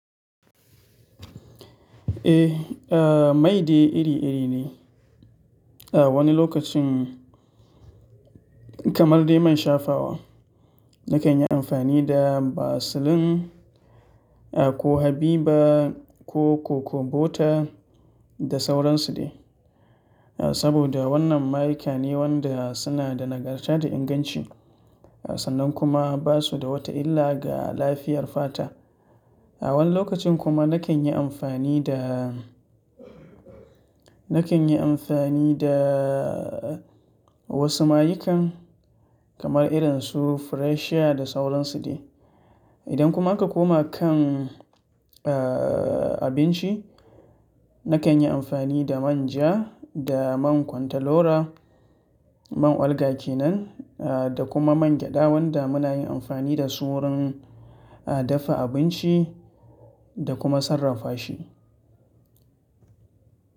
Eh, maide iri-iri ne. A wani lokacin kamar dai man shafawa, na kan yi amfani da Vaseline ko Habibah ko Cocobota da sauransu ne. Saboda wannan mayika ne waɗanda suna da nagarta da inganci sannan kuma ba su da wata illa ga lafiyar fata. A wani lokacin kuma na kan yi amfani da, na kan yi amfani da wasu mayikan kamar irin su Freshers da sauransu ne. Idan kuma aka koma kan, eh, abinci, na kan yi amfani da manja da man kwantalora, man olga kenan, eh, da kuma man gyada wanda muna yin amfani da su wurin, a dafa abinci da kuma sarrafa shi.